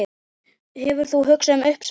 Hefur þú hugað að uppsögn?